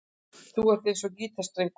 Þú ert eins og gítarstrengur.